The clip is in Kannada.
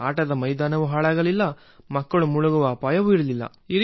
ಹೀಗಾಗಿ ಮೈದಾನ ಕೊಚ್ಚೆಯಾಗುತ್ತಿಲ್ಲ ಮತ್ತು ಇದರಲ್ಲಿ ಮಕ್ಕಳು ಮುಳುಗುವ ಅಪಾಯವೂ ಇಲ್ಲ